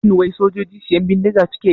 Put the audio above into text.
Shin wai sojoji siyan bindiga suke yi?